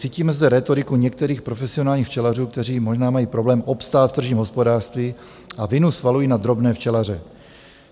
Cítíme zde rétoriku některých profesionálních včelařů, kteří možná mají problém obstát v tržním hospodářství a vinu svalují na drobné včelaře.